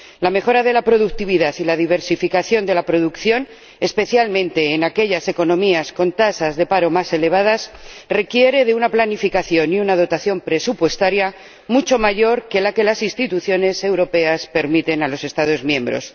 La mejora de la productividad y la diversificación de la producción, especialmente en aquellas economías con tasas de paro más elevadas, requiere de una planificación y una dotación presupuestaria mucho mayor que la que las instituciones europeas permiten a los Estados miembros.